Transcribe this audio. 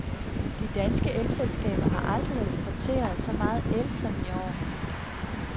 De danske elselskaber har aldrig eksporteret så meget el som i år.